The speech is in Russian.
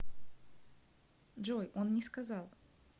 джой он не сказал